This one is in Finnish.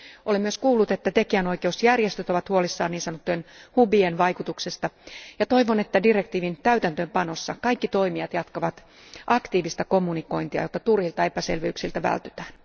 Olen myös kuullut, että tekijänoikeusjärjestöt ovat huolissaan niin sanottujen hubien vaikutuksesta ja toivon, että direktiivin täytäntöönpanossa kaikki toimijat jatkavat aktiivista kommunikointia, jotta turhilta epäselvyyksiltä vältytään.